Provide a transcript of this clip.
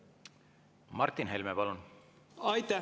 Martin Helme, palun!